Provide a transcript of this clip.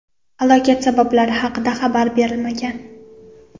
Halokat sabablari haqida xabar berilmagan.